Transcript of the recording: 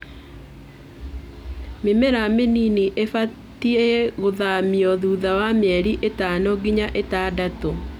Mĩmera mĩnini ĩbatie gũthamio thutha wa mĩeri ĩtano nginya ĩtandatũ.